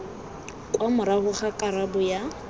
kwa morago ga karabo ya